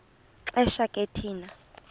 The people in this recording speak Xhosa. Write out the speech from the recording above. xesha ke thina